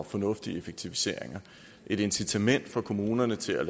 og fornuftige effektiviseringer et incitament for kommunerne til at